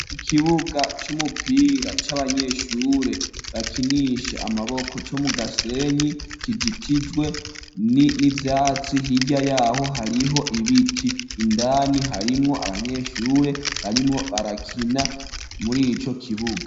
Ikibuga c'umupira c'abanyeshure bakinishe amaboko co mu gasenyi kijitijwe n'ivyatsi hirya yaho hariho ibiti indani harimwo abanyeshure barimwo barakina muri co kibuga.